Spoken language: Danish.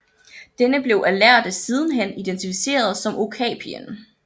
Denne blev af lærde sidenhen identificeret som okapien